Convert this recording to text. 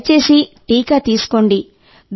దయచేసి టీకా తీసుకోండి